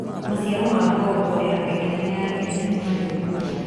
Maciaro ma ngombo ya bengi nene ya Kenya nĩ manene mũno